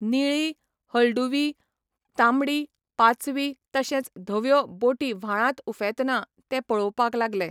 निळी, हळदुवी, तांबडी, पाचवी तशेंच धव्यो बोटी व्हाळांत उफेंतना ते पळोवपाक लागलें.